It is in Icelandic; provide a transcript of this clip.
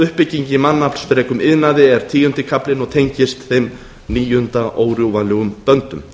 uppbygging í mannaflsfrekum iðnaði er tíundi kaflinn og tengist þeim níunda órjúfanlegum böndum